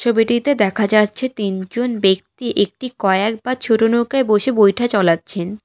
ছবিটিতে দেখা যাচ্ছে তিনজন ব্যক্তি একটি কয়াক বা ছোট নৌকায় বসে বৈঠা চলাচ্ছেন ।